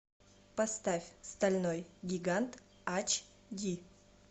поставь стальной гигант ач ди